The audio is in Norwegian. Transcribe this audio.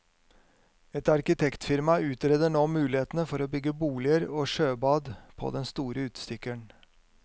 Et arkitektfirma utreder nå mulighetene for å bygge boliger og sjøbad på den store utstikkeren.